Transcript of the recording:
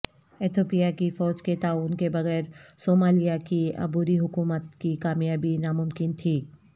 Ethiopia کی فوج کے تعاون کے بغیر صومالیہ کی عبوری حکومت کی کامیابی ناممکن تھی